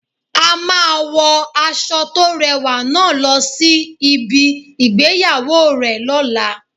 A máa wo aṣọ to rẹwà náà lọ sí ibi ìgbéyàwó rẹ lola